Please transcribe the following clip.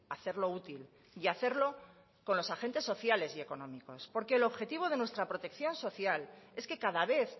hacerlo útil y hacerlo con los agentes sociales y económicos porque el objetivo de nuestra protección social es que cada vez